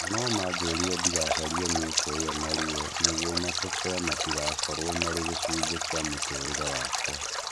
Nanomanjĩrire ndigacaria mĩeke ĩyo na ruo nĩguo matũkũya matigakorwo marĩ gĩcunjĩ kĩa mũtũrĩre wakwa